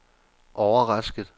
overrasket